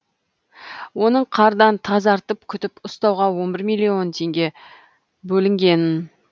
оның қардан тазартып күтіп ұстауға он бір миллион теңге бөлінген